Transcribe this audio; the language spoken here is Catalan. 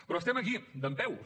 però estem aquí dempeus